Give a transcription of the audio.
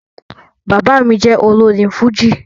Bàbá mí jẹ olórin fújì